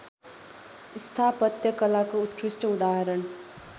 स्थापत्यकलाको उत्कृष्ट उदाहरण